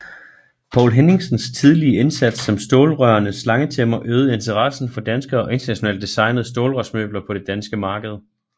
Poul Henningsens tidlige indsats som stålrørenes slangetæmmer øgede interessen for danske og internationalt designede stålrørsmøbler på det danske marked